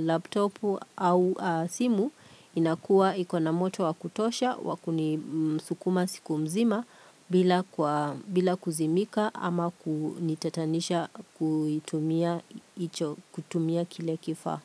laptopu au simu inakuwa iko na moto wa kutosha wakunisukuma siku mzima bila kwa bila kuzimika ama kunitatanisha kutumia kile kifa.